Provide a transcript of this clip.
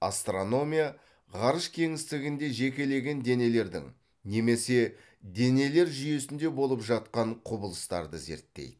астрономия ғарыш кеңістігінде жекелеген денелердің немесе денелер жүйесінде болып жатқан құбылыстарды зерттейді